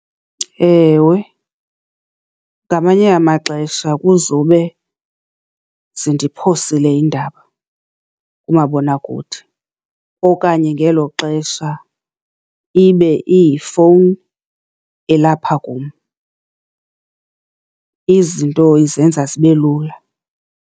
Ewe, ngamanye amaxesha kuzowube zindiphosile iindaba kumabonakude okanye ngelo xesha ibe iyifowuni elapha kum. Izinto izenza zibe lula.